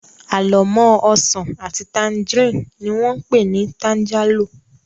Àlọ́mọ́ ọsàn àti tangerine ni wón pé ni tangerlo